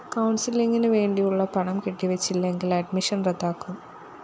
കൗണ്‍സിലിങ്ങിനു വേണ്ടിയുള്ള പണം കെട്ടിവച്ചില്ലെങ്കില്‍ അഡ്മിഷൻ റദ്ദാകും